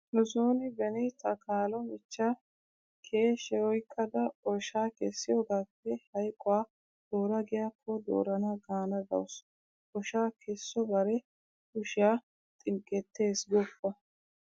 Nu sooni beni ta kaalo michchiya keeshe oyqqada oshaa kessiyogaappe hayquwa doora giyakko doorana gaana dawusu. Oshaa keesso bare kushiya xinqqettees goopp,